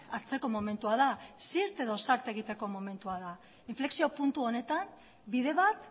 hartzeko momentua da zirt edo zart egiteko momentua da inflexio puntu honetan bide bat